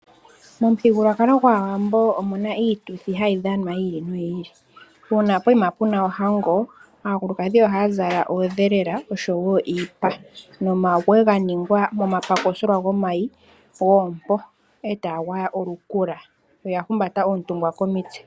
Momuthigululwakalo gwAawambo omuna iituthi hayi dhanwa yi ili noyi ili. Uuna poyima puna ohango aakulukadhi ohaya zala oodhelela oshowo iipa, nomawe ga ningwa momapakisolwa gomayi goompo, a taya gwaya olukula. Oya humbata oontungwa komitse.